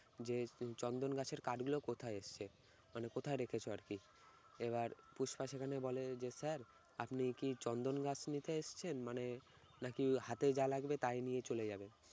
যে চন্দন গাছের কাঠগুলো কোথায় এসছে মানে কোথায় রেখেছো আর কি? এবার পুষ্পা সেখানে বলে যে sir আপনি কি চন্দন গাছ নিতে এসেছেন মানে নাকি হাতে যা লাগবে তাই নিয়ে চলে যাবেন